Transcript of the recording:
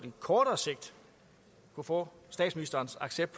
kortere sigt kunne få statsministerens accept